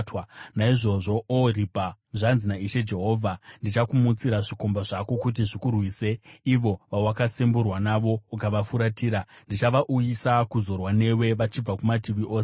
“Naizvozvo, Ohoribha, zvanzi naIshe Jehovha: Ndichakumutsira zvikomba zvako kuti zvikurwise, ivo vawakasemburwa navo ukavafuratira, ndichavauyisa kuzorwa newe vachibva kumativi ose,